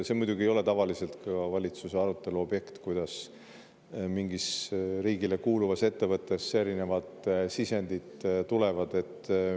See muidugi ei ole tavaliselt valitsuse arutelu objekt, kuidas mingisse riigile kuuluvasse ettevõttesse erinevad sisendid tulevad.